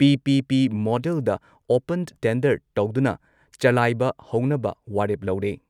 PPP. ꯃꯣꯗꯦꯜꯗ open tender ꯇꯧꯗꯨꯅ ꯆꯂꯥꯏꯕ ꯍꯧꯅꯕ ꯋꯥꯔꯦꯞ ꯂꯧꯔꯦ ꯫